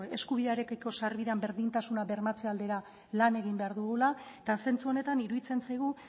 eskubidearekiko sarbidean berdintasuna bermatze aldera lan egin behar dugula eta zentzu honetan iruditzen zaigu